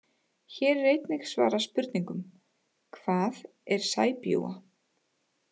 Hér er einnig svarað spurningunum: Hvað er sæbjúga?